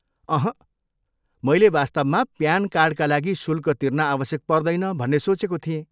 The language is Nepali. अहँ, मैले वास्तवमा प्यान कार्डका लागि शुल्क तिर्न आवश्यक पर्दैन भन्ने सोचेको थिएँ।